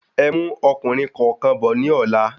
Ẹmú ọkùnrin kọ̀ọ̀kan bò ní ọ̀la